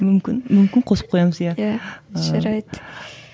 мүмкін мүмкін қосып қоямыз иә і жарайды